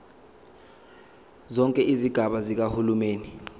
zonke izigaba zikahulumeni